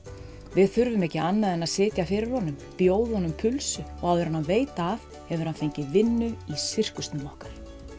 við þurfum ekki annað en að sitja fyrir honum bjóða honum pulsu og áður en hann veit af hefur hann fengið vinnu í sirkusnum okkar